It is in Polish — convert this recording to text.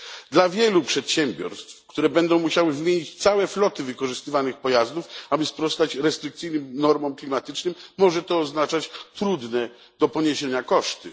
Dla wielu przedsiębiorstw, które będą musiały wymienić całe floty wykorzystywanych pojazdów, aby sprostać restrykcyjnym normom klimatycznym, może to oznaczać trudne do poniesienia koszty.